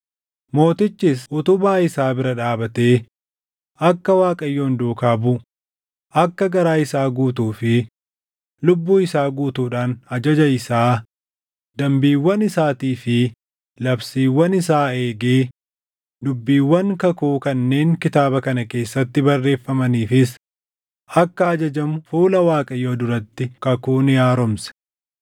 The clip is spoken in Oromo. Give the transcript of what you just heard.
Mootichis utubaa isaa bira dhaabatee akka Waaqayyoon duukaa buʼu, akka garaa isaa guutuu fi lubbuu isaa guutuudhaan ajaja isaa, dambiiwwan isaatii fi labsiiwwan isaa eegee, dubbiiwwan kakuu kanneen kitaaba kana keessatti barreeffamaniifis akka ajajamu fuula Waaqayyoo duratti kakuu ni haaromse.